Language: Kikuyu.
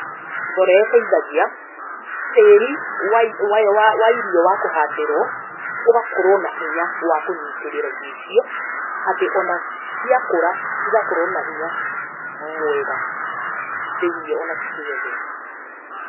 Mborera ĩteithagia tĩri wa irio wa kũhandĩrwo ũgakorwo na hinya wa kũnyitĩrĩra irio icio, atĩ ona ciakũra cigakorwo na hinya mwega thĩiniĩ ona cikĩgethwo.